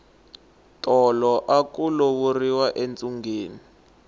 tolo aku lovoriwa entsungeni